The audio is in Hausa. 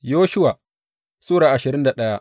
Yoshuwa Sura ashirin da daya